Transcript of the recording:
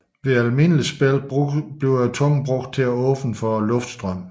Ved almindeligt spil bruges tungen til at åbne for luftstrømmen